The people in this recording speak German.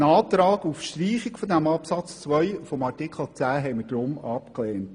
Ein Antrag auf Streichung des Absatzes 2 von Artikel 10 haben wir deshalb abgelehnt.